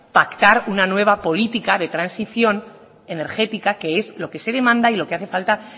pactar una nueva política de transición energética que es lo que se demanda y lo que hace falta